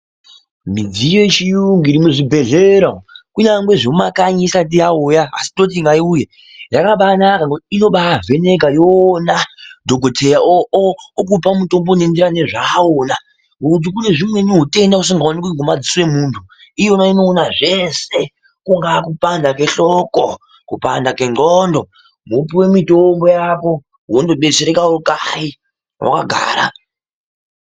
Midziyo yechiyungu iri muzvibhehleya umu kunyange zvemumakanyi isati yauya asi toti ngaiuye ,yakabaanaka ngokuti inobaavheneka yoona dhokodheya okupa mutombo unoenderana nezvaaona, ngokuti kunezvimweni utenda usingaoneki nge madziso emuntu iyoona inoona zvese kungaa kupanda kweshloko ,kupanda kwenxlondo mopuwe mitombo yako wonobetsereka kanyi wakagara.